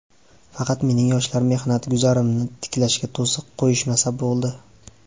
Faqat mening Yoshlar mehnat guzarimni tiklashga to‘siq qo‘yishmasa bo‘ldi.